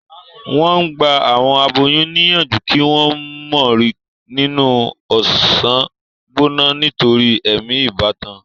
wón gbà àwọn aboyún níyànjú kí wón mo rìn nínú ọsán gbóná nítorí èmi ìbátan.